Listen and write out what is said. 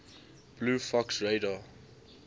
blue fox radar